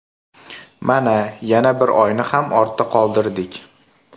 Mana, yana bir oyni ham ortda qoldirdik.